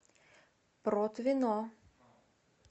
протвино